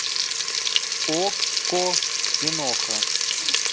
окко киноха